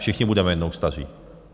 Všichni budeme jednou staří.